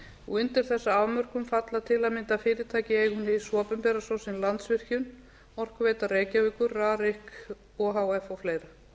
og undir þessa afmörkun falla til að mynda fyrirtæki í eigu hins opinbera svo sem landsvirkjun orkuveita reykjavíkur rarik o h f og fleira